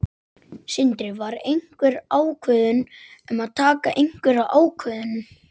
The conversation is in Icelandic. Sindri: Var einhver ákvörðun um að taka einhverja ákvörðun?